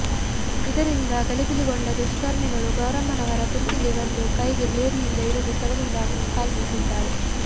ಇದರಿಂದ ಗಲಿಬಿಲಿಗೊಂಡ ದುಷ್ಕರ್ಮಿಗಳು ಗೌರಮ್ಮನವರ ಕುತ್ತಿಗೆ ಮತ್ತು ಕೈಗೆ ಬ್ಲೇಡ್ನಿಂದ ಇರಿದು ಸ್ಥಳದಿಂದ ಕಾಲ್ಕಿತ್ತಿದ್ದಾರೆ